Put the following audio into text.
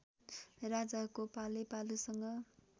राजाको पालै पालोसँग